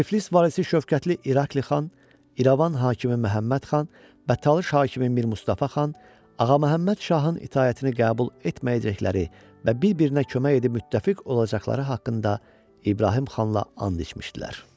Tiflis valisi Şövkətli İrakli xan, İrəvan hakimi Məhəmməd xan və Talış hakimi Mir Mustafa xan Ağa Məhəmməd Şahın itaətini qəbul etməyəcəkləri və bir-birinə kömək edib müttəfiq olacaqları haqqında İbrahim xanla and içmişdilər.